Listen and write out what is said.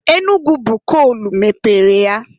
Enugu bụ koolu mepere ya.